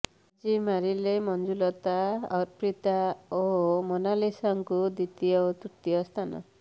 ବାଜି ମାରିଲେ ମଞ୍ଜୁଲତା ଅର୍ପିତା ଓ ମୋନାଲିସାଙ୍କୁ ଦ୍ୱିତୀୟ ଓ ତୃତୀୟ ସ୍ଥାନ